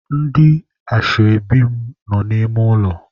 Ndị ashebi mụ nọ n'ime ụlọ.